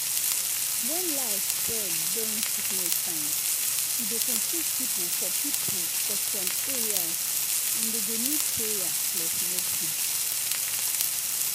when lie spread during sickness time e dey confuse people for people for some areas and dem go need prayer plus medicine.